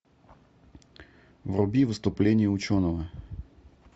вруби выступление ученого